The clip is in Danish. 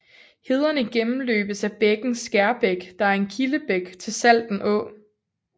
Hederne gennemløbes af bækken Skærbæk der er en kildebæk til Salten Å